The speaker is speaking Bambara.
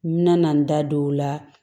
N bɛna na n da don o la